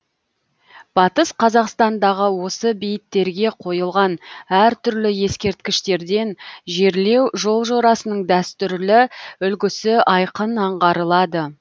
батыс қазақстандағы осы бейіттерге қойылған әр түрлі ескерткіштерден жерлеу жол жорасының дәстүрлі үлгісі айқын аңғарылады